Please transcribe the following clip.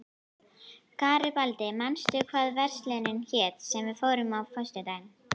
Garibaldi, manstu hvað verslunin hét sem við fórum í á föstudaginn?